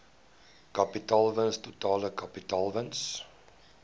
kapitaalwins totale kapitaalwins